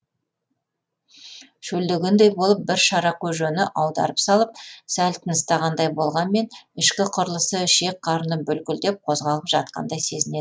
шөлдегендей болып бір шара көжені аударып салып сәл тыныстағандай болғанмен ішкі құрылысы ішек қарыны бүлкілдеп қозғалып жатқандай сезінеді